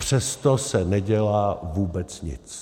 Přesto se nedělá vůbec nic.